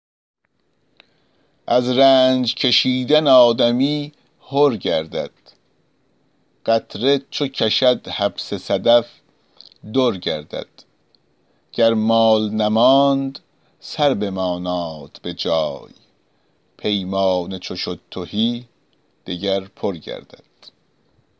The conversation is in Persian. از رنج کشیدن آدمی حر گردد قطره چو کشد حبس صدف در گردد گر مال نماند سر بماناد به جای پیمانه چو شد تهی دگر پر گردد